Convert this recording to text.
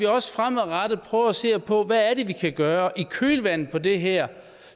også fremadrettet prøver at se på hvad det er vi kan gøre i kølvandet på det her